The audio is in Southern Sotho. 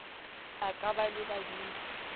a ka ba le badudi